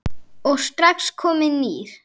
og strax kominn nýr.